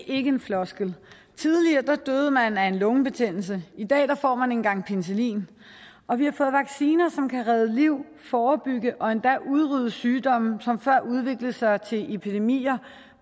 ikke en floskel tidligere døde man af en lungebetændelse i dag får man en gang penicillin og vi har fået vacciner som kan redde liv forebygge og endda udrydde sygdomme som før udviklede sig til epidemier